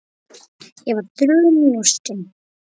Ég var þrumu lostin.